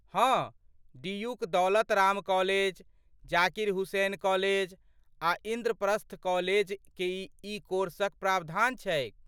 हँ, डीयूक Daulat Ram college, Zakir Hussain college आ इंद्रप्रस्थ कॉलेज ई कोर्स क प्रावधान छैक ।